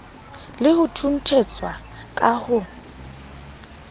le ho thunthetswa ka ho